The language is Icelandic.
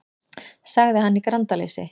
sagði hann í grandaleysi.